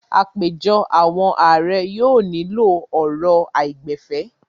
Àpèjọ àwọn ààrẹ yóò nílò ọ̀rọ̀ àìgbẹ̀fẹ̀.